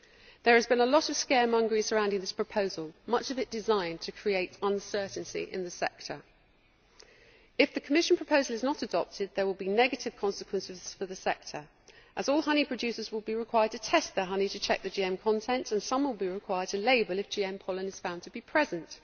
There has been a lot of scaremongering surrounding this proposal, much of it designed to create uncertainty in the sector. If the Commission proposal is not adopted, there will be negative consequences for the sector, as all honey producers will be required to test their honey to check the GM content, and some will be required to label if GM pollen is found to be present.